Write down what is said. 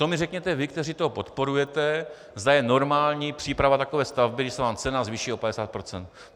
To mi řekněte vy, kteří to podporujete, zda je normální příprava takové stavby, když se vám cena zvýší o 50 procent.